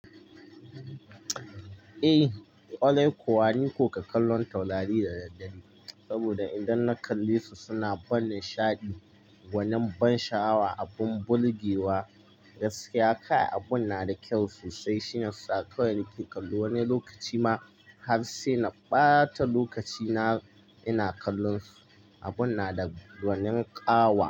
Eh, ƙwarai kuwa ni ko ka kallon taurari da daddare, saboda idan na kalle su suna ban nishaɗi. Gwanin ban sha'awa abun burgewa, gaskiya kai abun na da kyau sosai. Shiyasa kawai nake kallo, wani lokaci ma har sai na ɓata lokaci na ina kallon su, abun na da gwanin ƙawa.